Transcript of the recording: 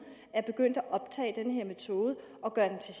er begyndt at overtage den her metode og gøre den til